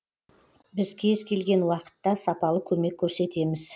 біз кез келген уақытта сапалы көмек көрсетеміз